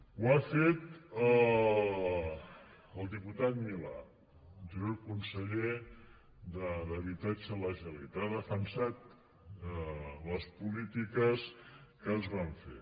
ho ha fet el diputat milà anterior conseller d’habitatge de la generalitat ha defensat les polítiques que es van fer